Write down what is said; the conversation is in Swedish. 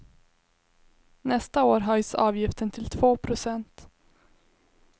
Nästa år höjs avgiften till två procent.